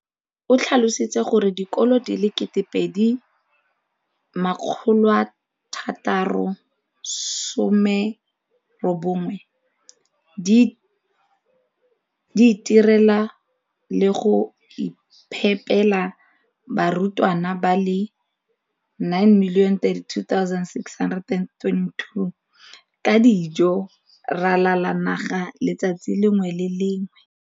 O tlhalositse gore dikolo di le 20 619 di itirela le go iphepela barutwana ba le 9 032 622 ka dijo go ralala naga letsatsi le lengwe le le lengwe.